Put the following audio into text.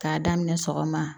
K'a daminɛ sɔgɔma